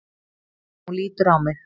Hún lítur á mig.